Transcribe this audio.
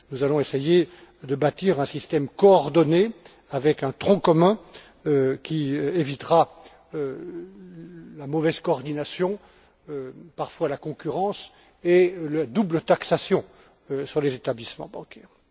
Nous allons essayer de bâtir un système coordonné avec un tronc commun qui évitera la mauvaise coordination, voire la concurrence, et la double taxation sur les établissements bancaires.